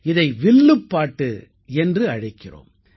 இதை வில்லுப்பாட்டு என்று அழைக்கிறோம்